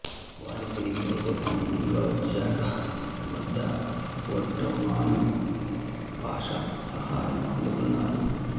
వారి తిరిగివచ్చే సమయంలో జడ్డాహ్ వద్ద ఒట్టోమను పాషా సహాయం అందుకున్నారు